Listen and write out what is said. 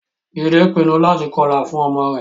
Jide pinnu láti kọlà fún ọmọ rẹ̀